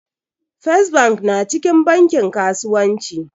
First bank na cikin bankin kasuwanci